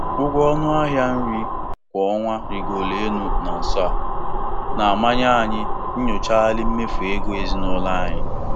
Ụgwọ ọnụ ahịa nri kwa ọnwa rịgoro elu na nso a, na-amanye anyị inyochagharị mmefu ego ezinụlọ anyị.